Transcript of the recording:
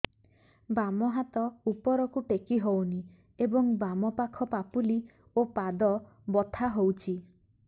ବାମ ହାତ ଉପରକୁ ଟେକି ହଉନି ଏବଂ ବାମ ପାଖ ପାପୁଲି ଓ ପାଦ ବଥା ହଉଚି